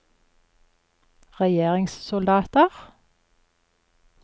regjeringssoldater